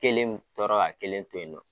Kelen tɔɔrɔ ka kelen to yen nɔ.